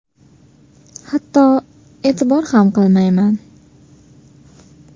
Hatto e’tibor ham qilmayman.